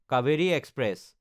Kaveri express